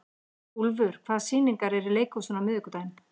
Úlfur, hvaða sýningar eru í leikhúsinu á miðvikudaginn?